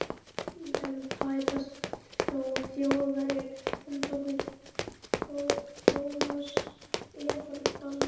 En tæpast þó Þjóðverjar? endurtók Thomas efablandinn.